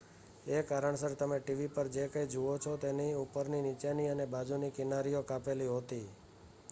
એ કારણસર તમે ટીવી પર જે કંઈ જુઓ છો તેની ઉપરની નીચેની અને બાજુની કિનારીઓ કાપેલી હોતી